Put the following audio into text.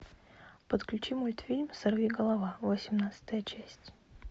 подключи мультфильм сорви голова восемнадцатая часть